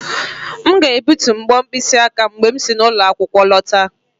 M ga-egbutu mbo mkpịsị aka m mgbe m si n'ụlọ akwụkwọ lọta